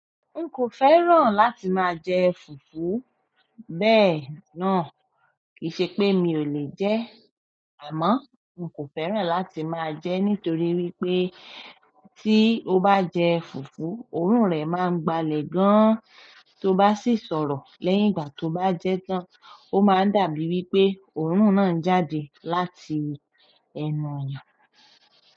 N kò fẹ́ràn láti máa jẹ fùfú, bẹ́ẹ̀ náà kìí ṣe pé mi ò lè jẹ ẹ́ àmọ́ n kò fẹ́ràn láti máa jẹ ẹ́ nítorí wípé tí o bá jẹ fùfú, òórùn rẹ máa ń gbalẹ̀ gan an. To bá sì sọ̀rọ̀ lẹ́yìn ìgbà tó bá jẹ́ tan an, ó máa ń dàbí wípé òórùn náà ń jáde láti ẹnu ẹ.